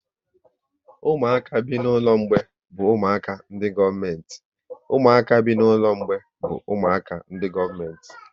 Ụmụaka bi n'ụlọ mgbei bụ ụmụaka ndị gọọmenti